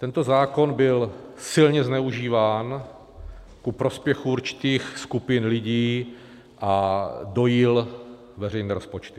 Tento zákon byl silně zneužíván ku prospěchu určitých skupin lidí a dojil veřejné rozpočty.